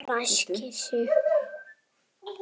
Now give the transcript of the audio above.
Hún ræskir sig.